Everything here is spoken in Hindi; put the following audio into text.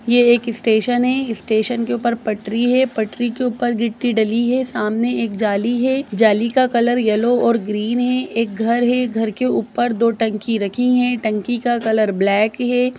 ये एक स्टेशन है स्टेशन के ऊपर पटरी है पटरी के ऊपर गिट्टी डली है सामने एक जाली है जाली का कलर येलो और ग्रीन है एक घर है घर के ऊपर दो टंकी रखी है टंकी का कलर ब्लैक है।